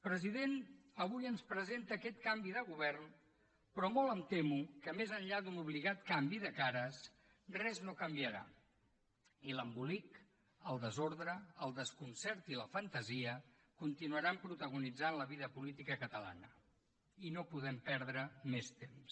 president avui ens presenta aquest canvi de govern però molt em temo que més enllà d’un obligat canvi de cares res no canviarà i l’embolic el desordre el desconcert i la fantasia continuaran protagonitzant la vida política catalana o no podem perdre més temps